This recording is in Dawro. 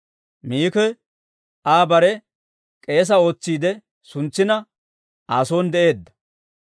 Miki Aa bare k'eesaa ootsiide suntsina, Aa son de'eedda.